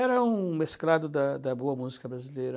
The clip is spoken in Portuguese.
Era um mesclado da da boa música brasileira.